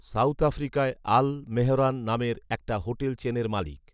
south আফ্রিকায় আল মেহরান নামের একটা হোটেল চেনের মালিক